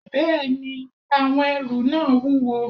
Bẹ́ẹ̀ni, àwọn ẹrù náà wúwo